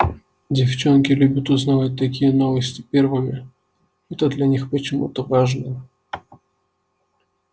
девчонки любят узнавать такие новости первыми это для них почему-то важно